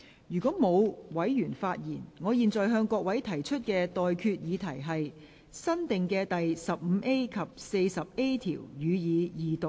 如果沒有委員想發言，我現在向各位提出的待決議題是：新訂的第 15A 及 40A 條，予以二讀。